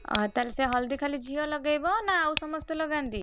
ଓହୋ ତାହେଲେ ସେ ହଳଦୀ ଖାଲି ଝିଅ ଲଗେଇବ ନା ଆଉ ସମସ୍ତେ ଲଗାନ୍ତି?